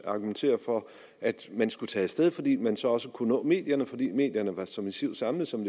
argumentere for at man skulle tage af sted fordi man derved så også kunne nå medierne fordi medierne være så massivt samlede som